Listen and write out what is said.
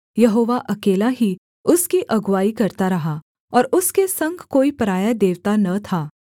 यहोवा अकेला ही उसकी अगुआई करता रहा और उसके संग कोई पराया देवता न था